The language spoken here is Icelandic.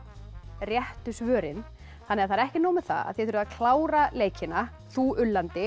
réttu svörin þannig að það er ekki nóg með að þið þurfið að klára leikina þú